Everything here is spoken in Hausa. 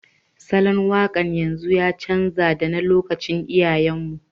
Salon waƙar yanzu ya canja da na lokacin iyayen mu